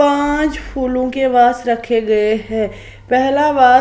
पांच फूलों के वेज रखे गए हैं पहला वे--